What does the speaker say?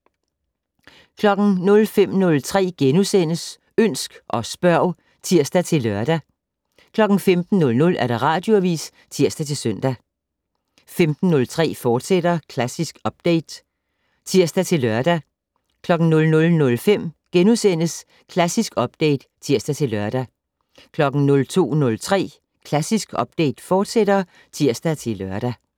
05:03: Ønsk og spørg *(tir-lør) 15:00: Radioavis (tir-søn) 15:03: Klassisk Update, fortsat (tir-lør) 00:05: Klassisk Update *(tir-lør) 02:03: Klassisk Update, fortsat (tir-lør)